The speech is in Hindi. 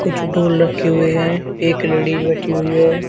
कुछ ढ़ोल रखे हुए हैं एक लेडिस बैठी हुई है।